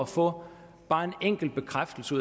få bare en enkelt bekræftelse